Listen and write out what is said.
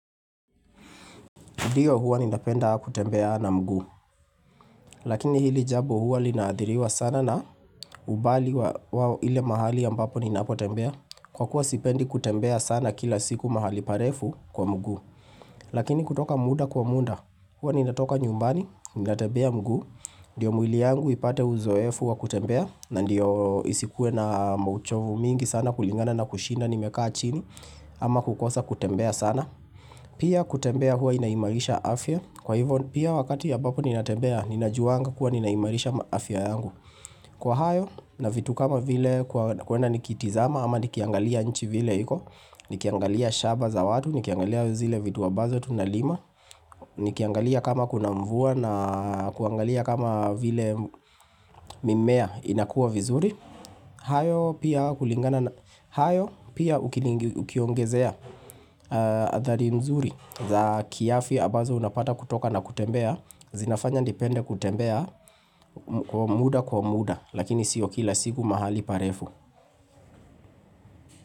Ndiyo huwa ninapenda kutembea na mguu. Lakini hili jambo huwa linaathiriwa sana na umbali wa ile mahali ambapo ninapotembea. Kwa kuwa sipendi kutembea sana kila siku mahali parefu, kwa mguu. Lakini kutoka muda kwa muda. Huwa ninatoka nyumbani, ninatembea mguu. Ndiyo mwili yangu ipate uzoefu wa kutembea. Na ndiyo isikuwe na mauchovu mingi sana kulingana na kushinda nimekaa chini. Ama kukosa kutembea sana. Pia kutembea huwa inaimarisha afya. Kwa hivyo, pia wakati ambapo ninatembea, ninajuwanga kuwa ninaimarisha afya yangu, kwa hayo na vitu kama vile, kuenda nikitazama ama nikiangalia nchi vile iko Nikiangalia shamba za watu, nikiangalia zile vitu ambazo tunalima Nikiangalia kama kuna mvua na kuangalia kama vile mimea inakua vizuri, hayo pia hayo pia ukiongezea athari mzuri za kiafya ambazo unapata kutoka na kutembea, zinafanya nipende kutembea, kwa muda kwa muda, lakini sio kila siku mahali parefu.